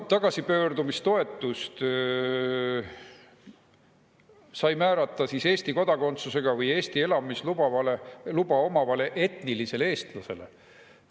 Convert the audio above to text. Tagasipöördumistoetust on saanud määrata Eesti kodakondsusega või Eesti elamisluba omavale etnilisele eestlasele.